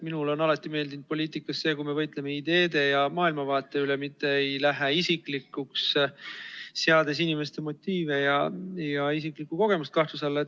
Mulle on alati meeldinud poliitikas see, kui me võitleme ideede ja maailmavaate üle, mitte ei lähe isiklikuks, seades inimeste motiive ja isiklikku kogemust kahtluse alla.